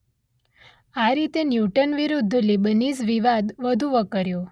આ રીતે ન્યૂટન વિરૂદ્ધ લીબનીઝ વિવાદ વધુ વકર્યો